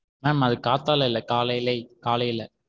Ma'am அது காத்தால இல்ல காலையிலே கலையில.